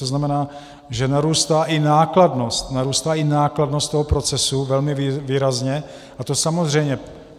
To znamená, že narůstá i nákladnost, narůstá i nákladnost toho procesu velmi výrazně, a to samozřejmě...